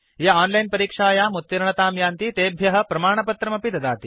ये ओनलाइन् परीक्षायाम् उत्तीर्णतां यान्ति तेभ्य प्रमाणपत्रमपि ददाति